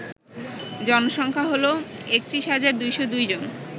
জনসংখ্যা হল ৩১২০২ জন